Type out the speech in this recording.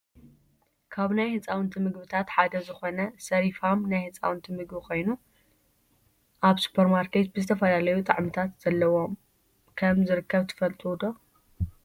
ካብ ናይ ህፃውንቲ ምግብታት ሓደ ዝኮነ ስሪፋም ናይ ህፃውንቲ ምግቢ ኮይኑ፣ ኣብ ስፖርማርኬት ብዝተፈላለዩ ጣዕምታት ዘለዎም ከም ዝርከብ ትፈልጡ ዶ ?